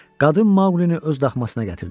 Qadın Maqlini öz daxmasına gətirdi.